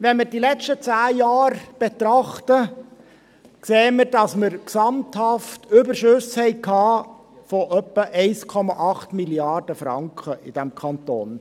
Wenn man die letzten zehn Jahre betrachtet, sieht man, dass wir in diesem Kanton gesamthaft Überschüsse von etwa 1,8 Mrd. Franken hatten.